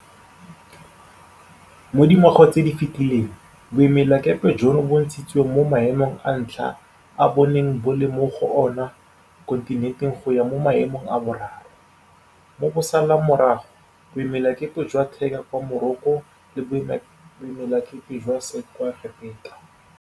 Mo dingwageng tse di fetileng, boemelakepe jono bo ntshitswe mo maemong a ntlha a bo neng bo le mo go ona mo kontinenteng go ya mo maemong a boraro, mo bo salang morago boemelakepe jwa Tangier kwa Morocco le boemelakepe jwa Said kwa Egepeta.